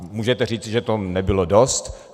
Můžete říci, že to nebylo dost.